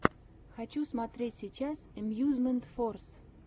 хочу смотреть сейчас эмьюзмент форс